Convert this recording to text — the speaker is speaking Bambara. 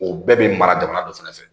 O bɛɛ bɛ mara jamana dɔ fɛnɛ fɛ